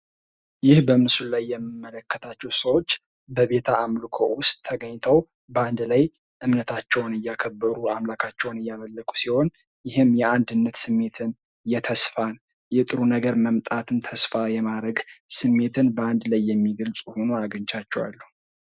ይህ በምስሉ ላይ የምመለከታቸው ሰዎች በቤተ አምልኮ ውስጥ ተገኝተው በአንድ ላይ እምነታቸውን እያከበ፤ አምላካቸውን እያመለኩ ሲሆን ይህም የአንድነት ስሜትን ፣የተስፋን፣ የጥሩ ነገር መምጣትን ተስፋ የማድረግ ስሜትን በአንድ ላይ የሚገልጹ ሁኖ አግኝቻቸዋለሁ።